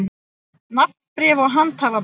Nafnbréf og handhafabréf.